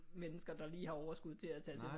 Mennesker der lige har overskud til at tage til